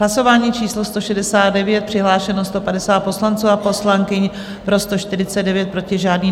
Hlasování číslo 169, přihlášeno 150 poslanců a poslankyň, pro 149, proti žádný.